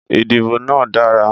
Ìdìbò náà dára.